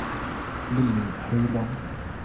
Lilly Høiland